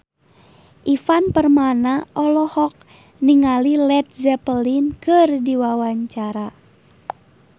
Ivan Permana olohok ningali Led Zeppelin keur diwawancara